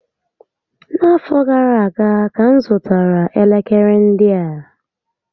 Na afọ gara aga ka m zụtara elekere ndị a